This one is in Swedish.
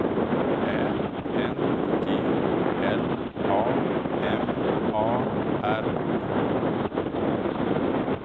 Ä N G L A M A R K